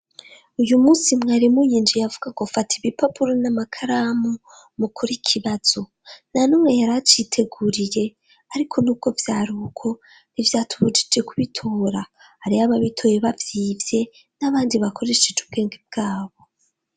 uyu munsi mwaremu yinjiye avuga ko fata ibipapuro n'amakaramu mukure ikibazo na numwe yaraciteguriye ariko nubwo vyaruko ntivyatuburije kubitora ariho ababitoye bavyivye n'abandi bakoresheje ubwenge bwabo